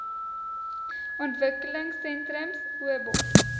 ontwikkelingsentrums obos